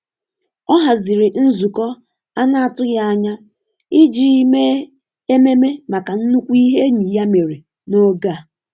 Ọ haziri nzukọ anatughi anya ijii mee ememe maka nnukwu ihe enyi ya mere n’oge a.